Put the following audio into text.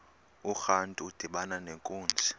urantu udibana nenkunzi